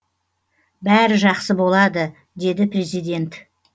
бәрі жақсы болады деді президент